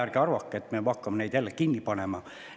Ärge arvake, et me hakkame neid jälle kinni panema.